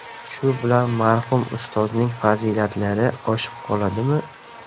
Shu bilan marhum Ustozning fazilatlari oshib qoladimi?